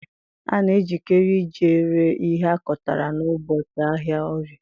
A na ejikere ije ree ihe akotara n'ubọchị ahịa Orie.